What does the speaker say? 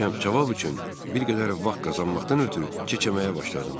Cavab üçün bir qədər vaxt qazanmaqdan ötrü kechəməyə başladım.